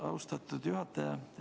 Austatud juhataja!